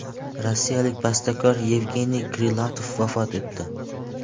Rossiyalik bastakor Yevgeniy Krilatov vafot etdi.